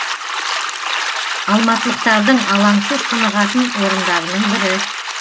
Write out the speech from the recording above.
алматылықтардың алаңсыз тынығатын орындарының бірі